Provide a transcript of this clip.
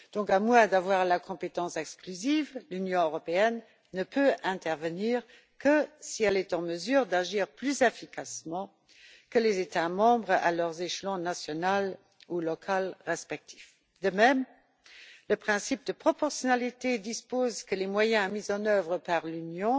À moins d'avoir la compétence exclusive, l'Union européenne ne peut intervenir que si elle est en mesure d'agir plus efficacement que les États membres à leur échelon national ou local. De même, le principe de proportionnalité dispose que les moyens mis en œuvre par l'Union